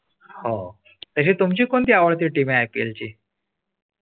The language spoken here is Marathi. . हो तशी तुमची कोणती आवडती team आहे I. P. L ची.